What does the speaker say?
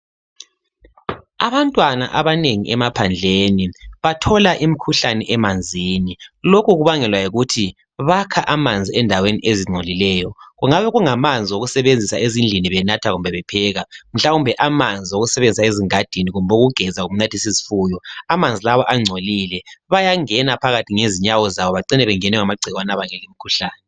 Abantwana abanengi emaphandleni bathola imikhuhlane emanzini. Lokhu kubangelwa yikuthi bakha amanzi endaweni ezingcolileyo. Kungabe kumanzi okusebenzisa ezindlini benatha kumbe bepheka. Mhlawumbe amanzi owokusebenzisa ezigadini kumbe ukugeza lokunathisa izifuyo amanzi lawa angcolile bayangena ngezinwo bacine bengenwa ngamagciwani abangela umkhuhlane